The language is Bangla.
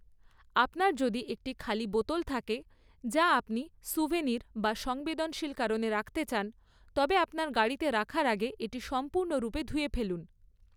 আপনার যদি একটি খালি বোতল থাকে যা আপনি স্যুভেনির বা সংবেদনশীল কারণে রাখতে চান তবে আপনার গাড়িতে রাখার আগে এটি সম্পূর্ণরূপে ধুয়ে ফেলুন।